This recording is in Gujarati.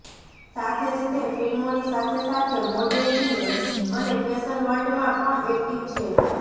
સાથે જ તે ફિલ્મોની સાથે સાથે મોડેલિંગ અને ફેશન વર્લ્ડ માં પણ એક્ટિવ છે